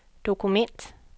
dokument